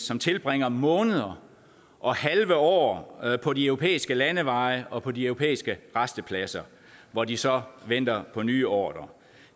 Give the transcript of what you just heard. som tilbringer måneder og halve år på de europæiske landeveje og på de europæiske rastepladser hvor de så venter på nye ordrer